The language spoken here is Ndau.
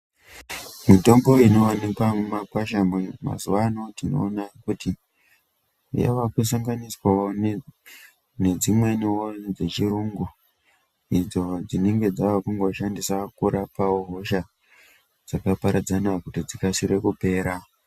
Mitombo inowanikwa muma kwasha mazuwano tinoona kuti yava kusanganiswawo nedzimweniwo dzechirungu idzo dzinenge dzaakungo shandiswa kurapawo hosha dzakaparadzana kuti dzikasire kupera.